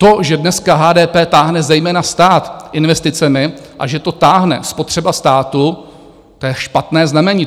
To, že dneska HDP táhne zejména stát investicemi a že to táhne spotřeba státu, to je špatné znamení.